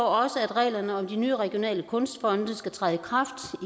også at reglerne om de nye regionale kunstfonde skal træde i kraft